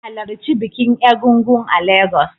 Halarci bikin Egúngún a Legas